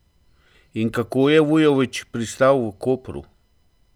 In kako je Vujović pristal v Kopru?